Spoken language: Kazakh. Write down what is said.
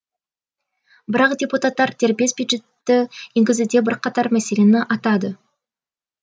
бірақ депутаттар дербес бюджетті енгізуде бірқатар мәселені атады